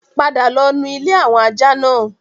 Padà lọ nu ilé àwọn ajá náà!